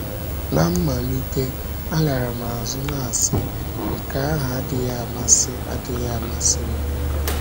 Ná mmalite, alara m azụ, na - asị: ‘ Nke ahụ adịghị amasị adịghị amasị m. ’